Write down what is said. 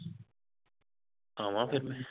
ਆਵਾਂ ਫੇਰ ਮੈਂ